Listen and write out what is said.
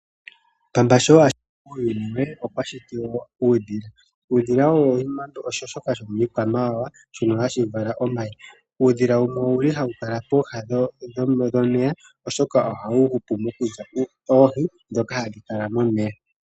Pamba sho ashiti uuyuni we, okwa shiti uudhila. Uudhila owo shoka shomiikwamawawa shoka hashi vala omayi . Ohawu kala pooha dhomeya oshoka ohawu hupu mokulya oohi ndhoka hadhi kala momeya.